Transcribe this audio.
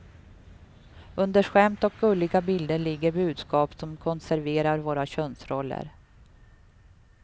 Under skämt och gulliga bilder ligger budskap som konserverar våra könsroller.